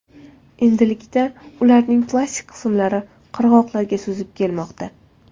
Endilikda ularning plastik qismlari qirg‘oqlarga suzib kelmoqda.